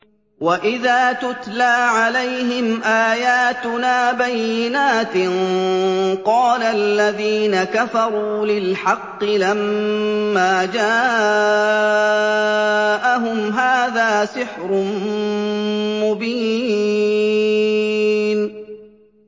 وَإِذَا تُتْلَىٰ عَلَيْهِمْ آيَاتُنَا بَيِّنَاتٍ قَالَ الَّذِينَ كَفَرُوا لِلْحَقِّ لَمَّا جَاءَهُمْ هَٰذَا سِحْرٌ مُّبِينٌ